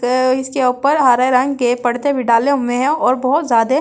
इसके ऊपर हरे रंग के पर्दे भी डाले हुए हैं और बहुत ज्यादे--